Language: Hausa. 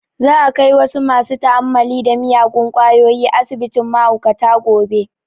Za a kai wasu masu ta'ammali da miyagun kwayoyi asibitin mahaukata gobe